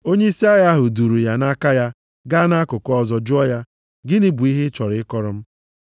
Onyeisi agha ahụ duuru ya nʼaka ya gaa nʼakụkụ ọzọ jụọ ya, “Gịnị bụ ihe ị chọrọ ịkọrọ m?”